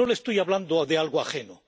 Y no le estoy hablando de algo ajeno